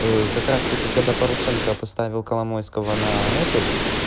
как раз таки когда порошенко поставил коломойского на этот